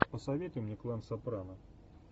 посоветуй мне клан сопрано